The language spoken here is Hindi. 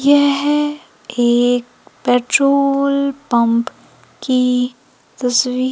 यह एक एक पेट्रोल पंप की तस्वीर--